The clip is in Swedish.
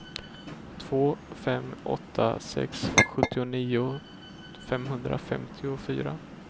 två fem åtta sex sjuttionio femhundrafemtiofyra